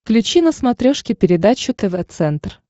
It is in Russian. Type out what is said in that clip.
включи на смотрешке передачу тв центр